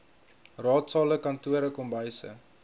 raadsale kantore kombuise